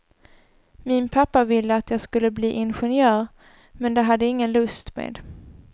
Min pappa ville att jag skulle bli ingenjör, men det hade jag ingen lust med.